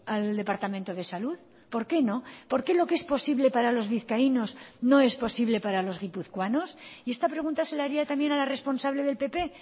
al departamento de salud por qué no por qué lo que es posible para los vizcaínos no es posible para los guipuzcoanos y esta pregunta se la haría también a la responsable del pp